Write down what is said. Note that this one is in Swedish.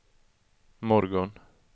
morgon